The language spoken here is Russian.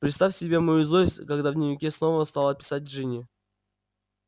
представь себе мою злость когда в дневнике снова стала писать джинни